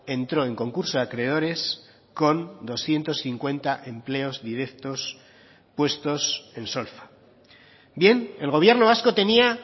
entró en concurso de acreedores con doscientos cincuenta empleos directos puestos en solfa bien el gobierno vasco tenía